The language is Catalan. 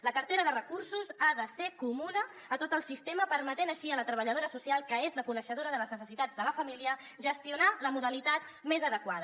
la cartera de recursos ha de ser comuna a tot el sistema permetent així a la treballadora social que és la coneixedora de les necessitats de la família gestionar la modalitat més adequada